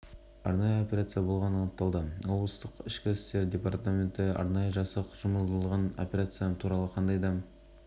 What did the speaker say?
бүгін ақтөбе халқы тағы дүрлікті алғашқы кезде оқу-жаттығу шарасы деп басу айтылғанымен кейін мұнай өңдеу зауытында